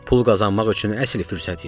Pul qazanmaq üçün əsl fürsət idi.